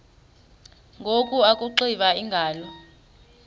ngoku akuxiva iingalo